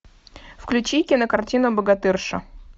включи кинокартину богатырша